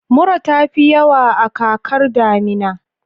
Mura ta fi yawa a kakar damina.